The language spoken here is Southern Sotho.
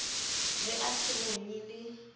re a se bonye le